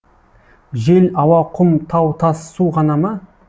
жел ауа құм тау тас су ғана ма